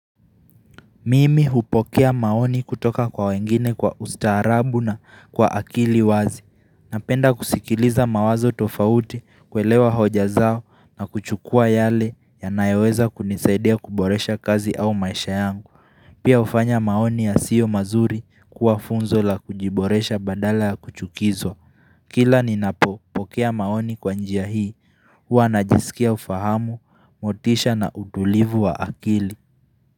Mimi hupokea maoni kutoka kwa wengine kwa ustaarabu na kwa akili wazi Napenda kusikiliza mawazo tofauti kuelewa hoja zao na kuchukua yale yanayoweza kunisaidia kuboresha kazi au maisha yangu Pia hufanya maoni ya sio mazuri kuwa funzo la kujiboresha badala ya kuchukizwa Kila ninapopokea maoni kwa njia hii Huwa najisikia ufahamu, motisha na utulivu wa akili.